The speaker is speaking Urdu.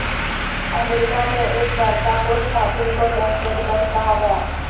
امریکہ میں ایک برقع پوش خاتون کو دہشت گرد کہا گیا